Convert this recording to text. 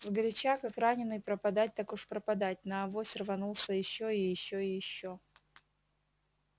сгоряча как раненый пропадать так уж пропадать на авось рванулся ещё и ещё и ещё